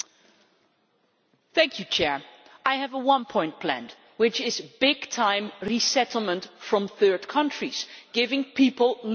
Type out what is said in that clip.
I have a one point plan, which is large scale resettlement from third countries, giving people legal access to the European Union.